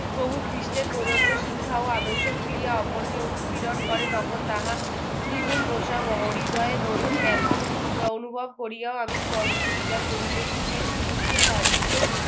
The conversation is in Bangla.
প্রভু খ্রীষ্টের প্রদত্ত শিক্ষা ও আদর্শবুলিয়া অপরকে উৎপীড়ণ করে তখন তাহা দ্বিগুন ও হৃদয়ে দরুন ব্যাথা অনুভব করিয়া আমি কষ্ট স্বীকার করিতেছে যে নিযুক্ত কাল থেকে